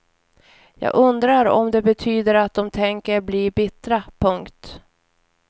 Jag undrar om det betyder att de tänker bli bittra. punkt